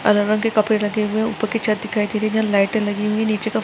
अलग रंग के कपड़े रखे हुए हैं ऊपर की छत दिखाई दे रही है लाइटे लगी हुई नीचे क--